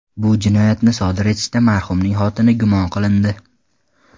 Bu jinoyatni sodir etishda marhumning xotini gumon qilindi.